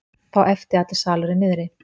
Þá æpti allur salurinn niðri.